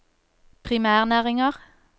primærnæringer